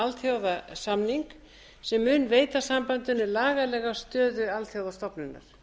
að fullgilda alþjóðasamning sem mun veita sambandinu lagalega stöðu alþjóðastofnunar